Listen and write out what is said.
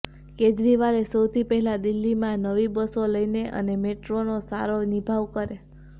કેજરીવાલે સૌથી પહેલાં દિલ્હીમાં નવી બસો લઈને આવે અને મેટ્રોનો સારો નિભાવ કરે